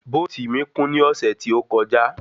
Bóòtì mí kún ní ọ̀sẹ́ tí ó kọjá.